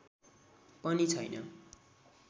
पनि छैन